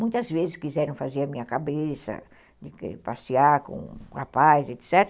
Muitas vezes quiseram fazer a minha cabeça, passear com o rapaz, etc.